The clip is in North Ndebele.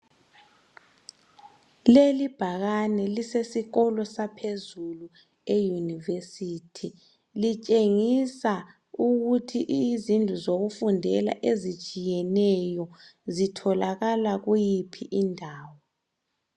Lelibhakane lisesikolo saphezulu eyunivesithi litshengisa ukuthi izindlu zokufundela ezitshiyeneyo zitholakala kuyiphi indawo.